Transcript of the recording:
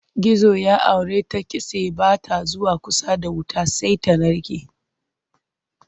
Gizo ya auri ta kitse ba ta zuwa kusa da wuta sai ta narke.